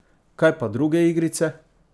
Kaj pa druge igrice?